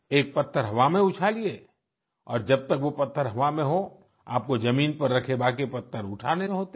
एक पत्थर हवा में उछालिए और जब तक वो पत्थर हवा में हो आपको जमीन में रखे बाकी पत्थर उठाने होते हैं